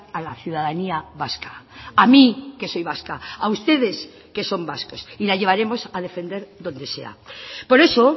a la ciudadanía vasca a mí que soy vasca a ustedes que son vascos y la llevaremos a defender donde sea por eso